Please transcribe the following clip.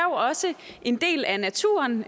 også en del af naturen